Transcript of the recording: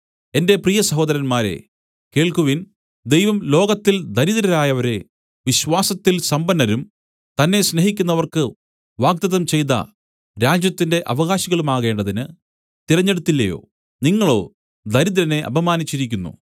എന്റെ പ്രിയ സഹോദരന്മാരേ കേൾക്കുവിൻ ദൈവം ലോകത്തിൽ ദരിദ്രരായവരെ വിശ്വാസത്തിൽ സമ്പന്നരും തന്നെ സ്നേഹിക്കുന്നവർക്ക് വാഗ്ദത്തം ചെയ്ത രാജ്യത്തിന്റെ അവകാശികളുമാകേണ്ടതിന് തിരഞ്ഞെടുത്തില്ലയോ നിങ്ങളോ ദരിദ്രനെ അപമാനിച്ചിരിക്കുന്നു